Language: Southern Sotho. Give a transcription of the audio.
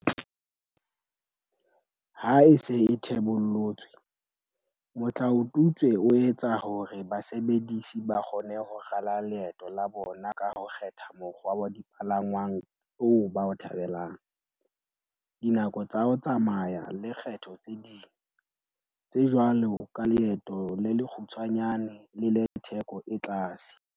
Ha e se e thebollotswe, motlao tutswe o etsa hore basebedisi ba kgone ho rala leeto la bona ka ho kgetha mokgwa wa dipalangwang oo ba o thabelang, dinako tsa ho tsamaya le kgetho tse ding, tse jwalo ka leeto le lekgu tshwanyane le le theko e tlase.